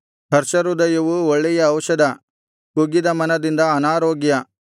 ಹರ್ಷಹೃದಯವು ಒಳ್ಳೆಯ ಔಷಧ ಕುಗ್ಗಿದ ಮನದಿಂದ ಅನಾರೋಗ್ಯ